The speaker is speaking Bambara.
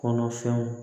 Kɔnɔfɛnw